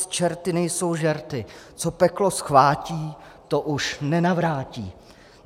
S čerty nejsou žerty - co peklo zchvátí, to už nenavrátí.